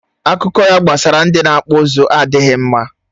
Akụkọ ya gbasara ndị na-akpụ ụzụ adịghị mma